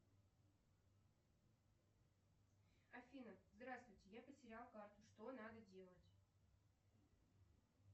афина здравствуйте я потерял карту что надо делать